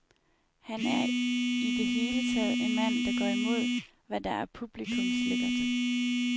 Han er i det hele taget en mand, der går imod, hvad der er publikumslækkert.